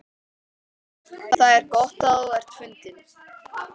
Það er gott að þú ert fundinn.